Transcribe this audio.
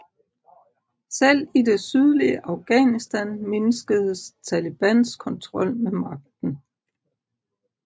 Selv i det sydlige Afghanistan mindskedes Talibans kontrol med magten